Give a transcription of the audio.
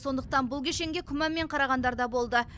сондықтан бұл кешенге күмәнмен қарағандар да болды